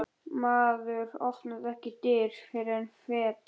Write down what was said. Maður opnar ekki dyr, fer ekki fet.